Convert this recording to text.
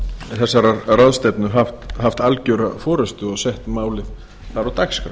þessarar ráðstefnu haft algjöra forustu og sett málið þar á dagskrá